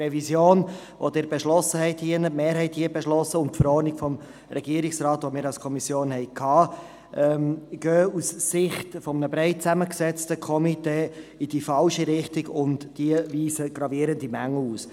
Die Revision, welche die Mehrheit von Ihnen beschlossen hat, und die Verordnung des Regierungsrates, die bei uns in der Kommission war, gehen aus Sicht eines breit zusammengesetzten Komitees in die falsche Richtung und weisen gravierende Mängel auf.